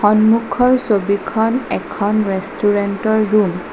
সন্মুখৰ ছবিখন এখন ৰেষ্টুৰেন্তৰ ৰূম ।